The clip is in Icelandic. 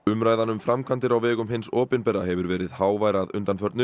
umræðan um framkvæmdir á vegum hins opinbera hefur verið hávær undanfarin